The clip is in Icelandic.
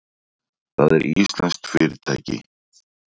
Það er íslenskt fyrirtæki.